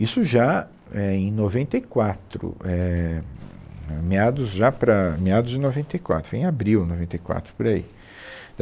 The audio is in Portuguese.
Isso já é, em noventa e quatro, éh, né meados já para, meados de noventa e quatro, foi em abril, noventa e quatro, por aí.